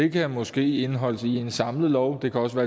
det kan måske indeholdes i en samlet lov det kan også